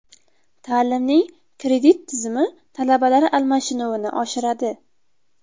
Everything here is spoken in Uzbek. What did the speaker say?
Ta’limning kredit tizimi talabalar almashinuvini oshiradi.